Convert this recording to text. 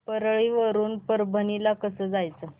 परळी वरून परभणी ला कसं जायचं